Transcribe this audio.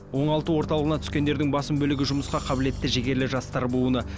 оңалту орталығына түскендердің басым бөлігі жұмысқа қабілетті жігерлі жастар буыны